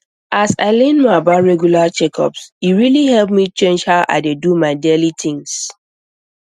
as i learn more about regular checkups e really help me change how i dey do my daily things